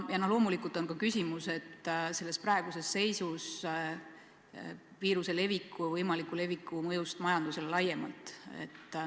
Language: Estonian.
Loomulikult on praeguses seisus ka küsimus viiruse võimaliku leviku mõjust majandusele laiemalt.